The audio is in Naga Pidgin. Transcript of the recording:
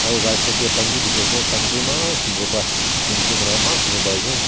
aru right side teh panju dikhi ase panju eman sundar pra painting kora eman sundar pai ase.